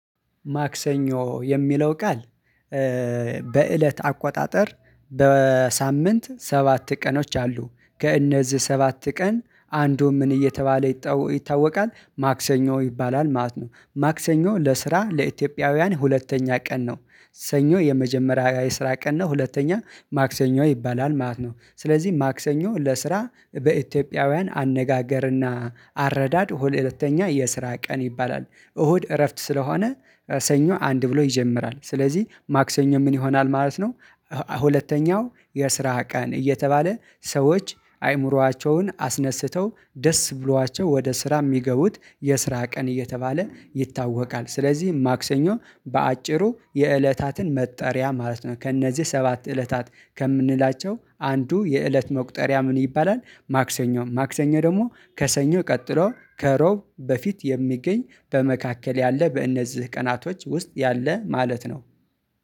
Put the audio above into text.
ማክሰኞ የሚለው ቃል። በእለት አቆጣጠር በሳምንት ሰባት ቀኖች አሉ ከእነዚህ ሰባት ቀን አንዱ ምን እየተባለ ይታወቃል ማክሰኞ ይባላል ማለት ነው። ማክሰኞ ለስራ ለኢትዮጵያውያን ሁለተኛ ቀን ነው። ሰኞ የመጀመሪያ የስራ ቀን ነው ሁለተኛ ማክሰኞ ይባላል ማለት ነው። ስለዚህ ማክሰኞ ለስራ በኢትዮጵያውያን አነጋገርና አረዳድ ሁለተኛ የስራ ቀን ይባላል። እሁድ እረፍት ስለሆነ ሰኞ አንድ ብሎ ይጀምራል ስለዚህ ማክሰኞ ምን ይሆናል ማለት ነው? ሁለተኛው የስራ ቀን እየተባለ ሰዎች አይምሯቸውን አስነስተው ደስ ብሏቸው ወደ ስራ የሚገቡት የስራ ቀን እየተባለ ይታወቃል። ስለዚህ ማክሰኞ በአጭሩ የእለታትን መጠሪያ ማለት ነው። ከእነዚህ ሰባት እለታት ከምንላቸው አንዱ የእለት መቁጠሪያ ምን ይባላል? ማክሰኞ ማክሰኞ ደግሞ ከሰኞ ቀጥሎ ከሮብ በፊት የሚገኝ በመካከል ያለ በእነዚህ ቀናቶች ውስጥ ያለ ማለት ነው።